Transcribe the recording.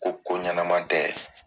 Ko ko ɲɛma tɛ